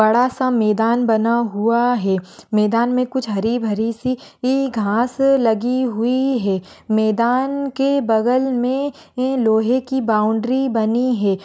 बडा सा मैदान बना हुआ है मैदान में कुछ हरी भरी सी घास लगी हुई है मैदान के बगल मै लोहे की बाउंड्री बनी है।